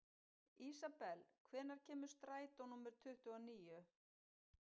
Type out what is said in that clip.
Ísabel, hvenær kemur strætó númer tuttugu og níu?